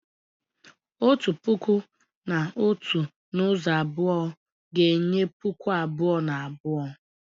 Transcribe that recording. Otu puku na otu n'ụzọ abụọ ga-enye puku abụọ na abụọ